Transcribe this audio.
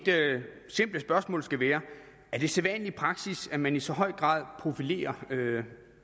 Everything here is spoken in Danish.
simple spørgsmål skal være er det sædvanlig praksis at man i så høj grad profilerer